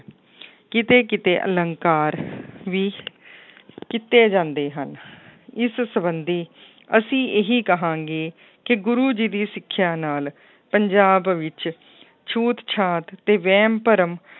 ਕਿਤੇ ਕਿਤੇ ਅਲੰਕਾਰ ਵੀ ਕੀਤੇ ਜਾਂਦੇ ਹਨ ਇਸ ਸੰਬੰਧੀ ਅਸੀਂ ਇਹੀ ਕਹਾਂਗੇ ਕਿ ਗੁਰੂ ਜੀ ਦੀ ਸਿੱਖਿਆ ਨਾਲ ਪੰਜਾਬ ਵਿੱਚ ਛੂਤ ਛਾਤ ਤੇ ਵਹਿਮ ਭਰਮ